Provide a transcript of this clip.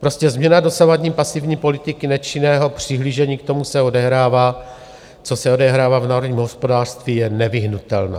Prostě změna dosavadní pasivní politiky nečinného přihlížení k tomu, co se odehrává v národním hospodářství, je nevyhnutelná.